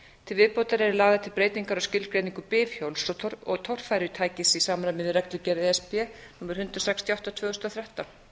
til viðbótar eru lagðar til breytingar á skilgreiningu bifhjóls og torfærutækis í samræmi við reglugerð e s b númer hundrað sextíu og átta tvö þúsund og þrettán